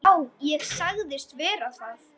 Já, ég sagðist vera það.